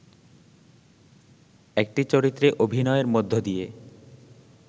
একটি চরিত্রে অভিনয়ের মধ্যে দিয়ে